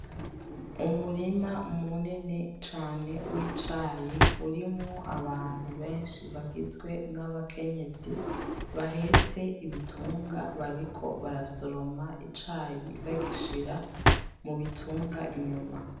Umurima munini cane w'icayi urimwo abantu benshi bagizwe n'abakenyezi bahetse ibitunga, bariko barasoroma icayi bagishira mu bitunga inyuma.